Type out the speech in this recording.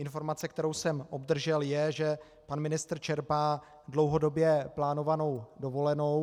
Informace, kterou jsem obdržel, je, že pan ministr čerpá dlouhodobě plánovanou dovolenou.